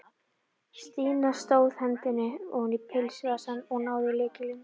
Stína tróð hendinni oní pilsvasann og náði í lykil.